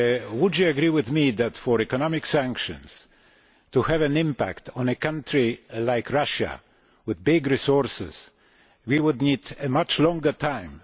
Would you agree with me that, for economic sanctions to have an impact on a country like Russia, with big resources, we would need a much longer time?